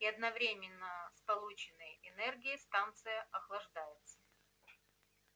и одновременно с полученной энергией станция охлаждается